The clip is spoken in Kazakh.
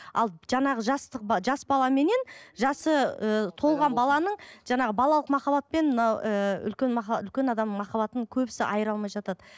ал жаңағы жастық жас баламенен жасы ыыы толған баланың жаңағы балалық махаббат пен мынау ііі үлкен үлкен адамның махаббатын көбісі айыра алмай жатады